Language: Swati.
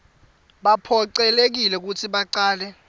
baphocelelekile kutsi bacale